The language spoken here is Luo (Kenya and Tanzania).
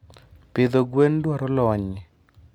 Pidho gwen dwaro lony.